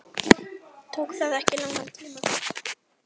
Tók það ekki langan tíma?